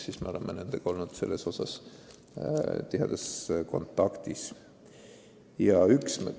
Nii et me oleme nendega tihedas kontaktis olnud.